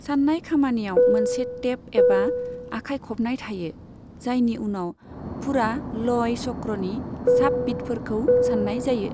सान्नाय खामानियाव मोनसे टेप एबा आखाइ खबनाय थायो, जायनि उनाव फुरा लय चक्रनि साब बिटफोरखौ सान्नाय जायो।